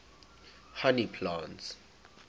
honey plants